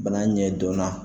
Bana ɲɛ dɔn na.